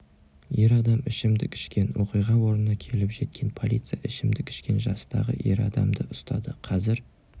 ер адам ішімдік ішкен оқиға орнына келіп жеткен полиция ішімдік ішкен жастағы ер адамды ұстады қазір